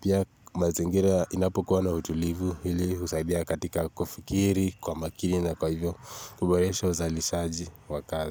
Pia mazingira inapokuwa na utulivu, hili husaidia katika kufikiri, kwa makini na kwa hivyo kuboresha uzalishaji wa kazi.